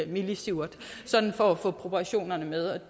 millisivert sådan for at få proportionerne med